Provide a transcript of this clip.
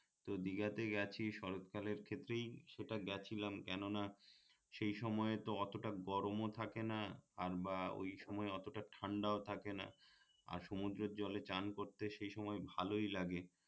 তো দীঘাতে গেছি শরৎ কালের ক্ষেত্রেই সেটা গেছিলাম কেননা সেই সময়ে তো অতটা গরমও থাকে না আর বা ওই সময়ে অতটা ঠান্ডাও থাকে না আর সমুদ্রের জলে স্নান করতে সেই সময় ভালই লাগে